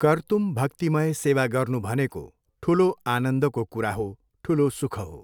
कर्तुम् भक्तिमय सेवा गर्नु भनेको ठुलो आनन्दको कुरा हो ठुलो सुख हो।